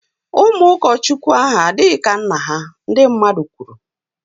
Ụmụ ụkọchukwu ahụ adịghị ka nna ha, ndi mmadụ kwuru